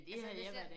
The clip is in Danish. Altså hvis jeg